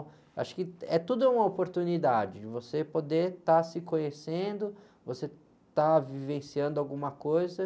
Acho que é tudo uma oportunidade de você poder estar se conhecendo, você estar vivenciando alguma coisa.